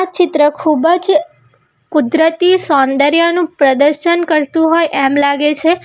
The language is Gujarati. ચિત્ર ખૂબ જ કુદરતી સૌંદર્યનું પ્રદર્શન કરતું હોય એમ લાગે છે.